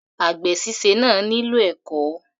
Àgbè síse náà nílò ẹ̀kọ́.